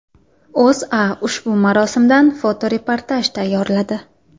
O‘zA ushbu marosimdan fotoreportaj tayyorladi .